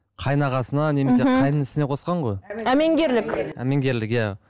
қайын ағасына немесе қайын інісіне қосқан ғой әмеңгерлік әмеңгерлік иә